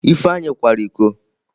Ifeanyi kwara iko.